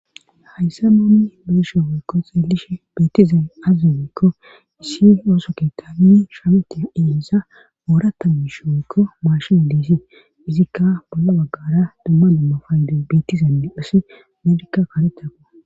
Hayssa moomi beeshe weykko xeelishi betizan azzegeekko issi ooso keta mini shameti eehisa oorata misho woykko maashina diisi izikka balla baggara dumma dumma faydu betizane hasi meedikka karetako.